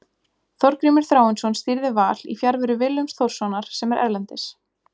Þorgrímur Þráinsson stýrði Val í fjarveru Willums Þórssonar sem er erlendis.